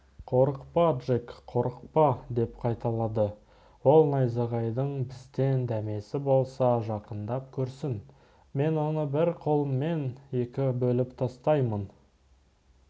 қорықпа джек қорықпа деп қайталады ол найзағайдың бізден дәмесі болса жақындап көрсін мен оны бір қолыммен екі бөліп тастайын